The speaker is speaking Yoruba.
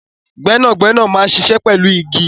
Gbẹ́nàgbẹ́nà máa ń ṣiṣẹ́ pẹ̀lú igi